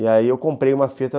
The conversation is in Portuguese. E aí eu comprei uma fita.